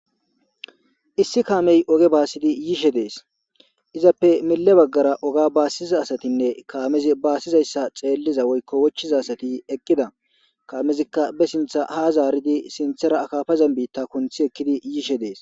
Issi kamey oge basidi yishe de'es izappe mele bagara oga basiza asatine kamezi basizaysa xeliza woyko wochiza asati eqida kamezika be sinta ha zaridi sintera akafazan bitha kuniti ekidi yishe de'es.